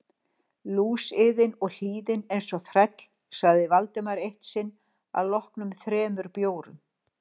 Lúsiðin og hlýðin eins og þræll sagði Valdimar eitt sinn að loknum þremur bjórum.